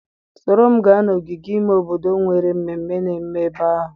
Soro m gaa n'ogige ime obodo enwere mmemme na-eme ebe ahụ.